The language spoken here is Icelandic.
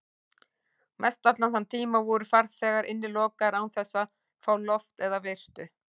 Og mestallan þann tíma voru farþegar innilokaðir án þess að fá loft eða birtu.